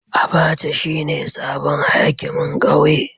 Abacha shine sabon hakimin kauye.